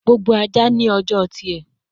Gbogbo aja ni ọjọ tiẹ